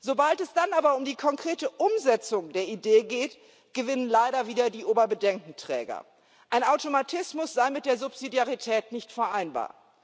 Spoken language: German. Sobald es dann aber um die konkrete Umsetzung der Idee geht, gewinnen leider wieder die Oberbedenkenträger Ein Automatismus sei mit der Subsidiarität nicht vereinbar.